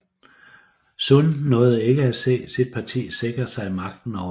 Sun nåede ikke at se sit parti sikre sig magten over landet